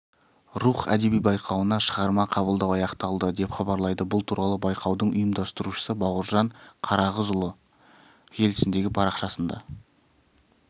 рух әдеби байқауына шығарма қабылдау аяқталды деп хабарлайды бұл туралы байқаудың ұйымдастырушысы бауыржан қарағызұлы желісіндегі парақшасында